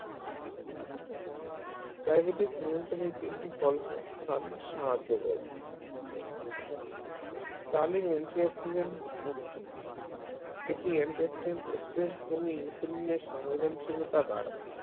diabetes নিয়ন্ত্রণের তিনটি কল কৌশল সাহায্য করব antioxidant ওরকম এটি antioxidant কমিয়ে insulin র সংবেদনশীলতা বাড়ায়